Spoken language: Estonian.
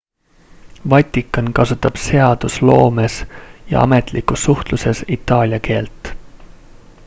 vatikan kasutab seadusloomes ja ametlikus suhtluses itaalia keelt